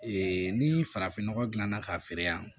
ni farafinnɔgɔ gilanna k'a feere yan